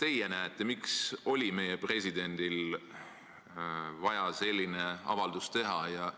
Mis te arvate, miks oli meie presidendil vaja selline avaldus teha?